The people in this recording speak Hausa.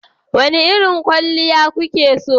Wane irin kwalliya kuke so?